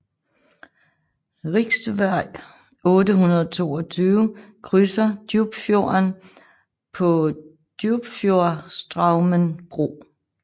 Riksvej 822 krydser Djupfjorden på Djupfjordstraumen bro